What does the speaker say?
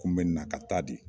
Kun bɛ na ka taa de.